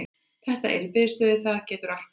Þetta er í biðstöðu, það getur allt gerst.